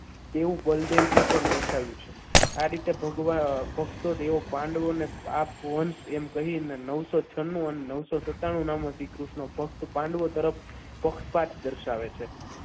તેવું બલદેવજીએ પણ બતાવી છે તો આ રીતે ભક્તો દેવો પાંડવોને આમ આપ વંશ કહીને નવસો છન્નું અને નવસો સત્તાનું નામે શ્રીકૃષ્ણ ફક્ત પાંડવો તરફ પક્ષપાથ દર્શાવે છે.